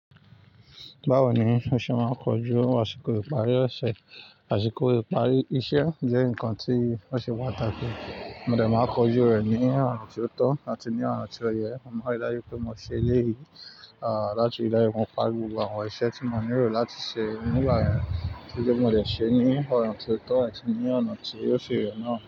Báwo ni o ṣe máa ń kojú àsìkò ìparí ọ̀ṣẹ̀? Àṣìkò ìparí iṣẹ́ jẹ́ nǹkan tí ó ṣe pàtàkì. Mo dẹ̀ máa kojú rẹ̀ ní ọ̀nà tí ó tọ́ àti ní ọ̀nà tí ó yẹ. Mo mari dájú pé mo ṣe léyì, à láti dájú pé mo parí gbogbo àwọn iṣẹ́ tí mo nílò láti ṣe nígbà yẹn. Kíló mo lè ṣe ní ọ̀nà tí ó tọ́ àti ní ọ̀nà tí óò ṣi yẹ̀ náà.